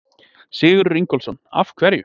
Sigurður Ingólfsson: Af hverju?